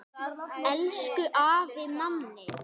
Elsku afi Manni.